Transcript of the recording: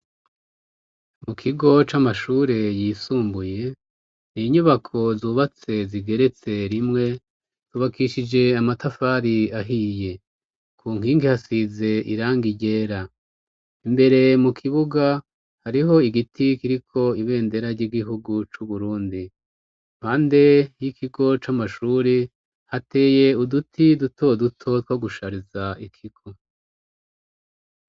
Mukigo c'amashuri yisumbuye n'inyubako zubatse zigeretse rimwe zubakishije amatafari ahiye. Kunkingi hasize irangi ryera imbere mukibuga hariho igiti kiriko ibendera ry'igihugu c'uburundi. Impande y'ikigo c'amashuri hateye uduti dutoduto two gushariza ikigo.